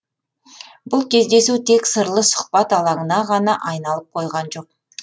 бұл кездесу тек сырлы сұхбат алаңына ғана айналып қойған жоқ